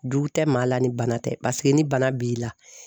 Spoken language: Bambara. Jugu tɛ maa la ni bana tɛ paseke ni bana b'i la